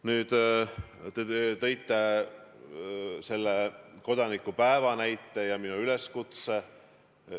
Nüüd, te viitasite kodanikupäevale ja minu üleskutsele.